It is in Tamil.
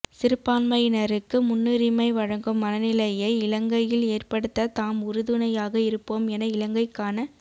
சிறுபான்மையினருக்கு முன்னுரிமை வழங்கும் மனநிலையை இலங்கையில் ஏற்படுத்த தாம் உறுதுணையாக இருப்போம் என இலங்கைக்கான